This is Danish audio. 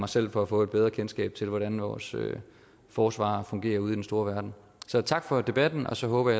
selv for at få et bedre kendskab til hvordan vores forsvar fungerer ude i den store verden så tak for debatten og så håber